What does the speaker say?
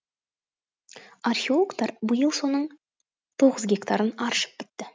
археологтар биыл соның тоғыз гектарын аршып бітті